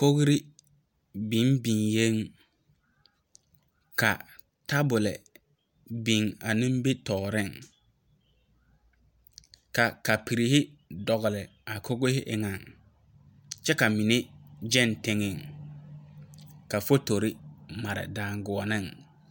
Kori biŋ biŋɛ ka tabol biŋ a nimitɔreŋ, ka kapiri dɔgeli a tabol eŋɛ kyɛ ka mine gyɛŋ teŋɛ ka fotori mare daŋgoɔnne.